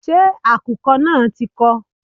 Ṣé àkùkọ náà ti kọ?